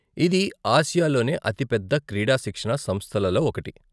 ఇది ఆసియాలోనే అతి పెద్ద క్రీడా శిక్షణా సంస్థలలో ఒకటి.